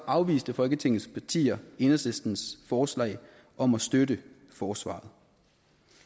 afviste folketingets partier enhedslistens forslag om at støtte forsvaret